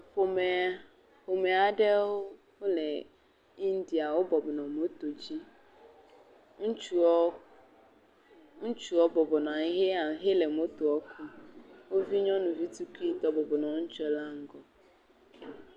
Ƒomea, ƒomea aɖewo bɔbɔ nɔ moto dzi, ŋutsuaɔ, ŋutsuɔ bɔbɔ nɔ anyi he hele motoɔ ku. Wo vi nyɔnuvi tuikuitɔ bɔbɔ nɔ ŋutsu la ŋgɔ.